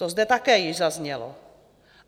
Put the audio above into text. To zde také již zaznělo.